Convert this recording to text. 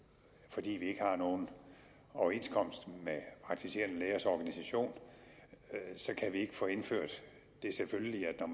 fordi vi ikke har nogen overenskomst med praktiserende lægers organisation kan vi ikke få indført det selvfølgelige at når